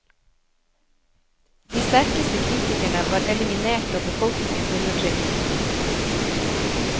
De sterkeste kritikerne var eliminert og befolkningen undertrykt.